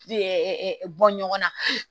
bɔ ɲɔgɔn na